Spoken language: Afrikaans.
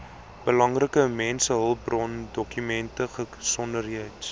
belangrike mensehulpbrondokumente gesondheids